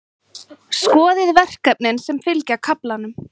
Skoðið verkefnin sem fylgja kaflanum.